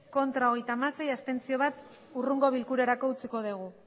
bai hogeita hamasei ez bat abstentzio hurrengo bilkurarako utziko dugu